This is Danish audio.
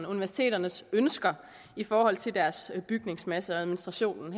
universiteternes ønsker i forhold til deres bygningsmasse og administrationen